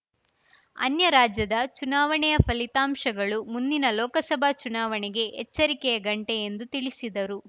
ಅನ್ಯರಾಜ್ಯದ ಚುನಾವಣೆಯ ಫಲಿತಾಂಶಗಳು ಮುಂದಿನ ಲೋಕಸಭಾ ಚುನಾವಣೆಗೆ ಎಚ್ಚರಿಕೆಯ ಗಂಟೆ ಎಂದು ತಿಳಿಸಿದರು